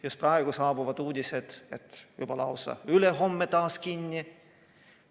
Just praegu on saabunud uudised, et lausa ülehomme on koolid taas kinni.